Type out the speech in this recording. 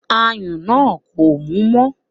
Ayùn náà kò mú mọ́